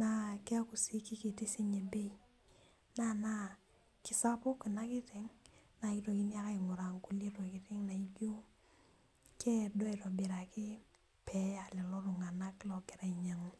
naa keeku sii kikiti sinye bei naa enaa kisapuk ina kiteng naa kitokini ake aing'uraa nkulie tokiting naijio keedo aitobiraki peeya lelo tung'anak logira ainyiang'u.